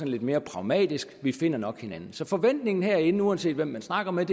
lidt mere pragmatisk på vi finder nok hinanden så forventningen herinde er uanset hvem man snakker med